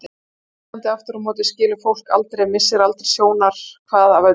Á Íslandi aftur á móti skilur fólk aldrei, missir aldrei sjónar hvað af öðru.